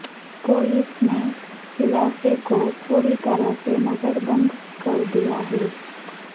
police نے علاقے کو پورطرح نظر بند کر دیا ہے